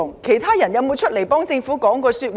其他官員可有站出來為政府說話？